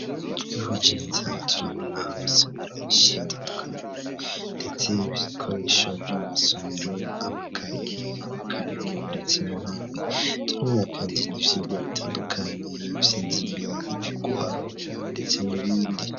Twihweje neza, turabona amasomero menshi atandukanye, ndetse ibikoresho vyo mu masomero; amakayi, amakaramu ndetse n'intebe, turabona kandi n'ivyigwa bitandukanye; ivy'indimi, ivy'uguharura ndetse n'ibindi.